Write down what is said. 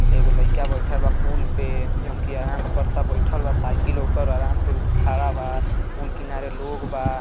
एगो लइका बइठल बा पुल पे जवन की आराम से करता बइठल बा। साइकिल ओकर आराम से खड़ा बा। पूल किनारे लोग बा।